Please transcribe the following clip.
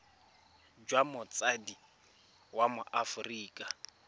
jwa motsadi wa mo aforika